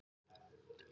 Hann á Tinnu og Huga.